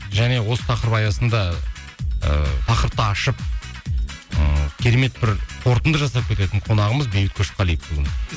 және осы тақырып аясында ы тақырыпты ашып ммм керемет бір қорытынды жасап кететін қонағымыз бейбіт көшқалиев бүгін